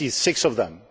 I see six of them.